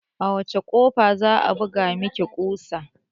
A wacce kofa za'a buga maki kusa?